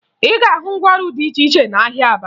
Ị ga-ahụ ngwaọrụ dị iche iche n'ahịa Aba